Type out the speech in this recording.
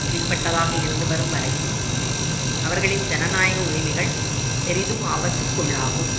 கீழ்ப்பட்டதாக இருந்து வரும் வரையும் அவர்களின் ஜனநாயக உரிமைகள் பெரிதும் ஆபத்துக்குள்ளாகும்